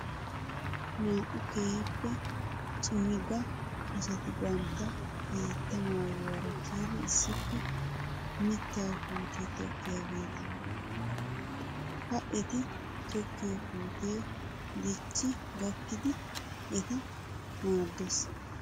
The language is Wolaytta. Naa'u keehippe cimiga asati bantta hiitta maayyuwaara kiyidi issippe mittaa puutiyaa tokkiyaageeta. Ha eti tokkiyoo puutee dicci gakkidi eta maaddes.